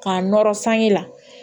K'a nɔrɔ sange la